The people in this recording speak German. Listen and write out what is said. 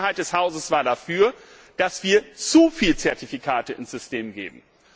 Die Mehrheit des Hauses war dafür, dass wir zu viele Zertifikate ins System geben.